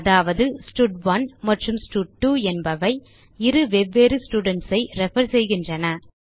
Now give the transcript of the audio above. அதாவது ஸ்டட்1 மற்றும் ஸ்டட்2 என்பவை இரு வெவ்வேறு ஸ்டூடென்ட்ஸ் ஐ ரெஃபர் செய்கின்றன